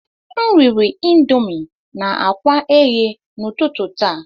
M riri Indomi na akwa eghe n'ụtụtụ taa.